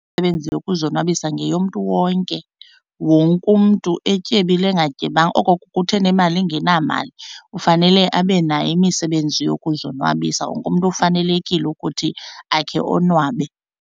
Imisebenzi yokuzonwabisa ngeyomntu wonke, wonke umntu etyebile engatyebanga. Oko kuthi enemali engenamali kufanele abe nayo imisebenzi yokuzonwabisa, wonke umntu ufanelekile ukuthi akhe onwabe.